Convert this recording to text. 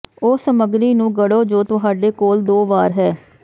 ਉਸ ਸਮੱਗਰੀ ਨੂੰ ਗੜੋ ਜੋ ਤੁਹਾਡੇ ਕੋਲ ਦੋ ਵਾਰ ਹੈ